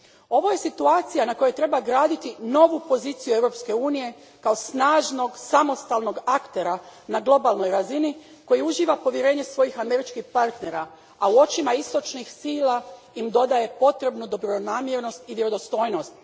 Ovo je situacija na kojoj treba graditi novu poziciju Europske unije kao snažnog samostalnog aktera na globalnoj razini koji uživa povjerenje svojih američkih partnera, a u očima istočnih sila im dodaje potrebnu dobronamjernost i vjerodostojnost.